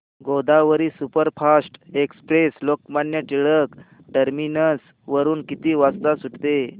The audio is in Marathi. Godavari superfast express Lokmanya Tilak terminus वरून किती वाजता सुटते